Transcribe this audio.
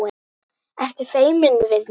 Ertu feimin við mig?